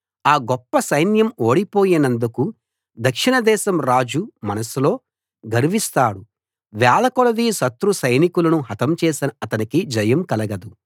ఆ గొప్ప సైన్యం ఓడిపోయినందుకు దక్షిణదేశం రాజు మనస్సులో గర్విస్తాడు వేలకొలది శత్రు సైనికులను హతం చేసినా అతనికి జయం కలగదు